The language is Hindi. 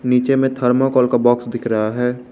नीचे में थर्माकोल का बॉक्स दिख रहा है।